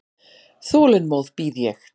Þolinmóð bíð ég.